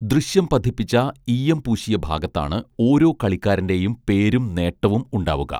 ദൃശ്യം പതിപ്പിച്ച ഈയം പൂശിയ ഭാഗത്താണ് ഓരോ കളിക്കാരന്റെയും പേരും നേട്ടവും ഉണ്ടാവുക